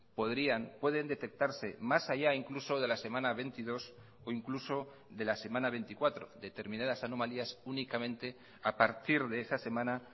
podrían pueden detectarse más allá incluso de la semana veintidós o incluso de la semana veinticuatro determinadas anomalías únicamente a partir de esa semana